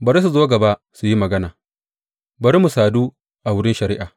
Bari su zo gaba su yi magana; bari mu sadu a wurin shari’a.